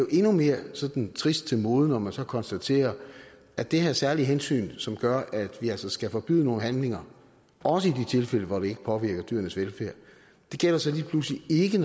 endnu mere sådan trist til mode når man så konstaterer at det her særlige hensyn som gør at vi altså skal forbyde nogle handlinger også i de tilfælde hvor det ikke påvirker dyrenes velfærd lige pludselig ikke